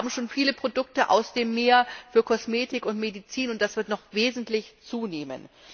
Wir haben schon viele Produkte aus dem Meer für Kosmetik und Medizin, und das wird noch wesentlich zunehmen.